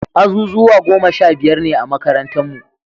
Azuzuwa goma sha biyar ne a makarantarnu.